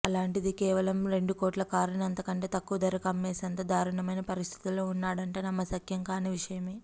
అలాంటిది కేవలం రెండుకోట్ల కారుని అంతకంటే తక్కువధరకు అమ్మేసేంత ధారుణమైన పరిస్థితుల్లో ఉన్నాడంటే నమ్మశక్యం కాని విశయమే